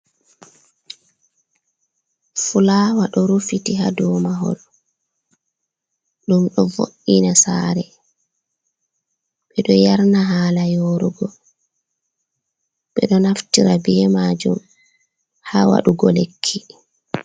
Fulawa ɗo rufiti haa ɗo mahol ɗum ɗo vo’ina saare, ɓe ɗo yarna hala yorugo, ɓe ɗo naftira be majum haa waɗugo lekki.